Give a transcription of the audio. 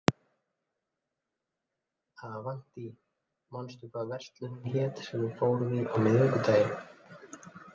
Avantí, manstu hvað verslunin hét sem við fórum í á miðvikudaginn?